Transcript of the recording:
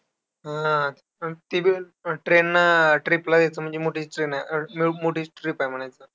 हान, पण ते बी train नं, trip ला जायचं म्हणजे मोठीच train आहे, अं मोठीच trip आहे म्हणायचं.